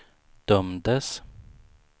dömdes